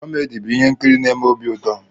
Komedi bụ ihe nkiri n'eme obi ụtọ.